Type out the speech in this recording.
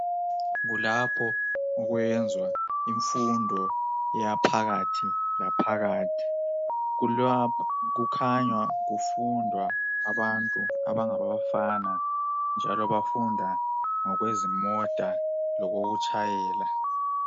Kulapho okwenzwa imfundo yaphakathi laphakathi, kukhanya kufunda abantu abangabafana njalo bafunda ngokwezimota lokokutshayela.